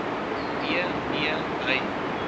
nee nee hy